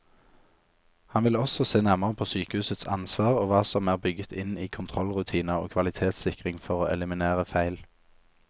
Han vil også se nærmere på sykehusets ansvar og hva som er bygget inn i kontrollrutiner og kvalitetssikring for å eliminere feil.